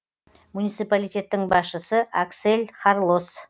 муниципалитеттің басшысы аксель харлос